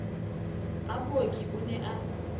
a booki o ne a